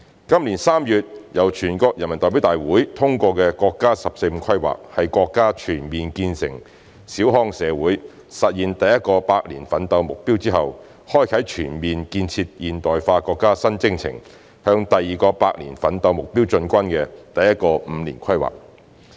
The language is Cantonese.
今年3月由全國人民代表大會通過的國家"十四五"規劃，是國家全面建成小康社會、實現第一個百年奮鬥目標之後，開啟全面建設現代化國家新征程、向第二個百年奮鬥目標進軍的第一個五年規劃。